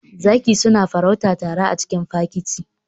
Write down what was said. Zaki suna farauta tare a cikin fakiti.